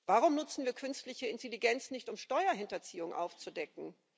Warum nutzen wir künstliche Intelligenz nicht, um Steuerhinterziehung aufzudecken?